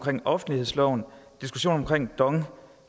offentlighedsloven og diskussionen om dong